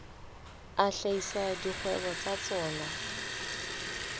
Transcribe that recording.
a hlahisa dikgwebo tsa tsona